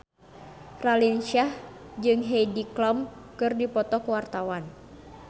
Raline Shah jeung Heidi Klum keur dipoto ku wartawan